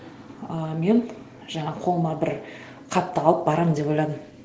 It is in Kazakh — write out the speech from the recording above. ы мен жаңағы қолыма бір хатты алып барамын деп ойладым